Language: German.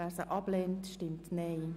Wer sie ablehnt, stimmt Nein.